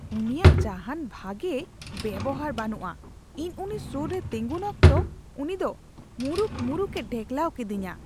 ᱩᱱᱤᱭᱟᱜ ᱡᱟᱦᱟᱱ ᱵᱷᱟᱜᱮ ᱵᱮᱣᱦᱟᱨ ᱵᱟᱹᱱᱩᱜᱼᱟ ᱾ ᱤᱧ ᱩᱱᱤ ᱥᱳᱨ ᱨᱮ ᱛᱮᱸᱜᱚᱱ ᱚᱠᱛᱚ ᱩᱱᱤ ᱫᱚ ᱢᱩᱨᱩᱠ ᱢᱩᱨᱩᱠᱼᱮ ᱰᱷᱮᱠᱞᱟᱣ ᱠᱮᱫᱤᱧᱟ ᱾